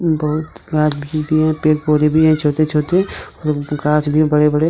बहुत पेड़ पौधे भी हैं छोटे छोटे और गाछ भी है बड़े बड़े।